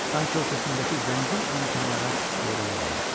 Sanki o səsindəki zəngin imkanlara heyran qalmışdı.